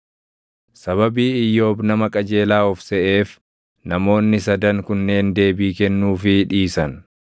Sababii Iyyoob nama qajeelaa of seʼeef namoonni sadan kunneen deebii kennuufii dhiisan.